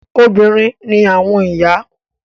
Obìnrin ni àwọn ìyá.